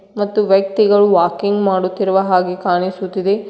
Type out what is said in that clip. ಮತ್ತು ವ್ಯಕ್ತಿಗಳು ವಾಕಿಂಗ್ ಮಾಡುತ್ತಿರುವ ಹಾಗೆ ಕಾಣಿಸುತ್ತಿದೆ.